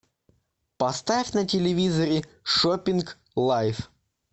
поставь на телевизоре шопинг лайф